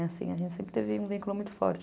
A gente sempre teve um vínculo muito forte.